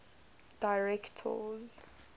directors